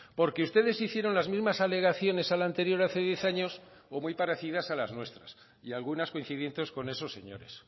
porque ustedes hicieron las mismas alegaciones a la anterior hace diez años o muy parecidas a las nuestras y algunas coincidentes con esos señores